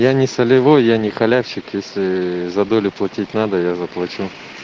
я не солевой я не халявщик если за долю платить надо я заплачу